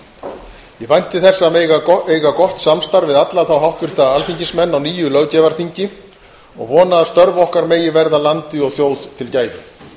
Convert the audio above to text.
ég vænti þess að eiga gott samstarf við alla háttvirta alþingismenn á nýju löggjafarþingi og vona að störf okkar megi verða landi og þjóð til gæfu